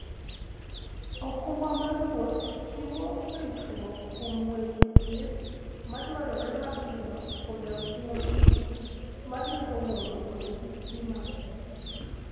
okumba mar wuoth chiwo ritruok kuom weche thieth madwarore mapiyo koda kuom gik manyalo mono wuoth kik dhi maber.